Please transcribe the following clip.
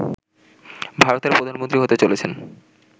ভারতের প্রধানমন্ত্রী হতে চলেছেন